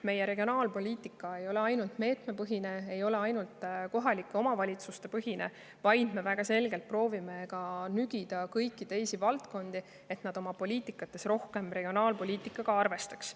Meie regionaalpoliitika ei ole ainult meetmepõhine, ei ole ainult kohalike omavalitsuste põhine, vaid me väga selgelt proovime nügida ka kõiki teisi valdkondi, et nad oma poliitikates rohkem regionaalpoliitikaga arvestaks.